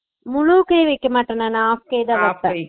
முழுக்கை நான் வைக்க மாட்டேன் நானு half கைதா